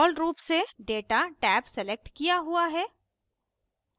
default रूप से data tab select किया हुआ है